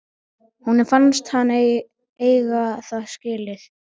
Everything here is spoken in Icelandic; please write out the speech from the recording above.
Honum fannst hann eiga það skilið.